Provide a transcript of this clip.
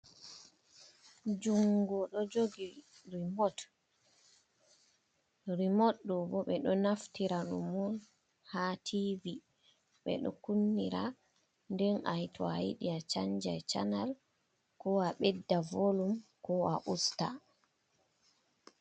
Jungo ɗo jogi rimot, rimot ɗobo ɓeɗo naftira ɗum on ha tv ɓeɗo kunnira nden to ayiɗi a chanja chanal ko a ɓedda volum ko a usta.